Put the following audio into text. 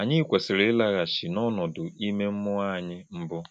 Anyị kwesịrị ịlaghachi n’ọnọdụ ime mmụọ anyị mbụ.